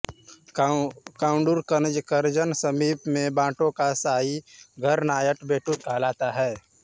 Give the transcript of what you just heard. काउडूर कनजर के समीप में बंटों का शाही घर नायर बेट्टु कहलाता है